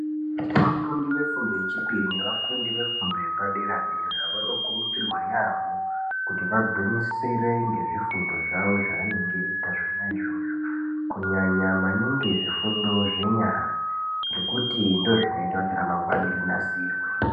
Vafundi vefundo yechipiri nevafundi vefundo yepadera dera vanokurudzirwa yaambo kuti vagwinyisire ngezvifundo zvavo zvavanenge veiita zvona izvozvo kunyanya maningi zvifundo zvenyara ngekuti ndozvinoita kuti ramangwana rinasirwe.